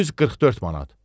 Düz 44 manat.